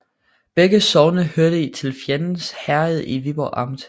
Begge sogne hørte til Fjends Herred i Viborg Amt